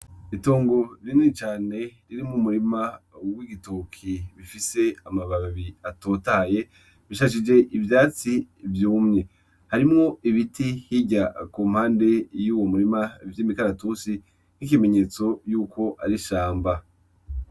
Itongo rinini cane ririmwo umurima w'igitoki bifise amababi atotahaye bishashije ivyatsi vyumye, harimwo ibiti hirya ku mpande y'uwu murima vy'imikaratusi nk'ikimenyetso yuko ar'ishamba.